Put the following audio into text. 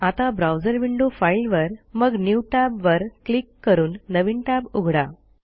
आता browser window file वर मग न्यू Tab वर क्लिक करून नवीन टॅब उघडा